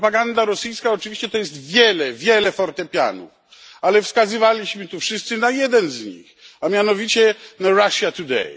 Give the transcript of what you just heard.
Propaganda rosyjska oczywiście to jest wiele, wiele fortepianów, ale wskazywaliśmy tu wszyscy na jeden z nich, a mianowicie Russia Today.